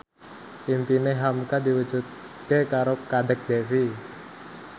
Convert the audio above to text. impine hamka diwujudke karo Kadek Devi